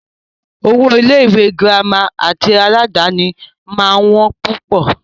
Owó Ilé ìwé gírámà tí aládàni máà ń wọ́n púpọ̀.